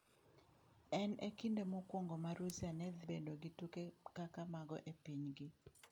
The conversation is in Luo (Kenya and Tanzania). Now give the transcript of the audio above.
En e kinde mokwongo ma Russia ne dhi bedo gi tuke kaka mago e pinygi.